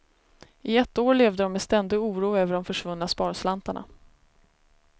I ett år levde de med ständig oro över de försvunna sparslantarna.